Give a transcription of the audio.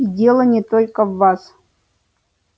и дело не только в вас